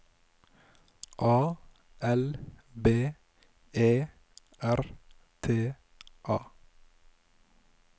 A L B E R T A